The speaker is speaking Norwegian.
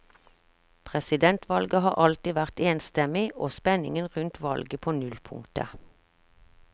Presidentvalget har alltid vært enstemmig, og spenningen rundt valget på nullpunktet.